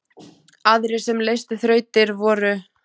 Aðrir sem leystu þrautir voru